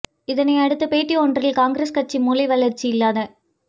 இதனையடுத்து பேட்டி ஒன்றில் காங்கிரஸ் கட்சி மூளை வளர்ச்சி இல்லாத